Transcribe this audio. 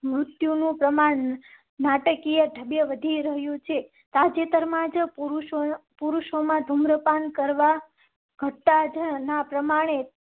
મૃત્યુ નું પ્રમાણ નાટકીય ઢબે વધી રહ્યું છે. તાજેતરમાં જ પુરુષો માં ધુમ્રપાન કરવા. ગટ્ટા પ્રમાણ ને